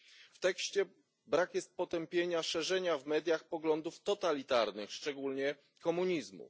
W tekście brak jest potępienia szerzenia w mediach poglądów totalitarnych, szczególnie komunizmu.